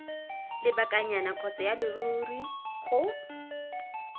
lebakanyana kgotsa ya leruri go